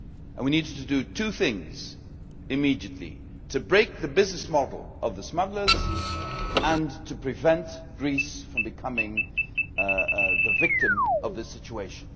We needed to do two things immediately to break the business model of the smugglers and to prevent Greece from becoming the victim of this situation.